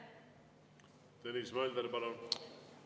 Tõnis Mölder, palun!